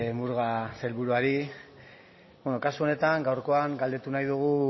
murga sailburuari beno kasu honetan gaurkoan galdetu nahi dugu